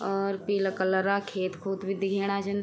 और पीला कलरा खेत खूत भी दिखेणा छन।